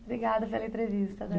Obrigada pela entrevista, Delba.